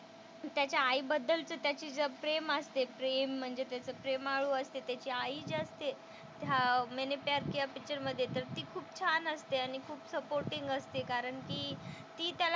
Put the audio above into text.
त्याच्या आईबद्दलचं त्याचं जे प्रेम असते प्रेम म्हणजे त्यांचं प्रेमाळू असते त्याची आई जी असते त्या मैंने प्यार किया पिक्चर मधे तर ती खूप छान असते. आणि खूप सपोर्टींग असते कारण की ती त्याला,